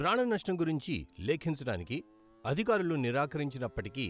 ప్రాణనష్టం గురించి లెఖించడానికి అధికారులు నిరాకరించినప్పటికీ,